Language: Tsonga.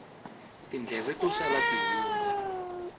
tindleve to sala ti hundza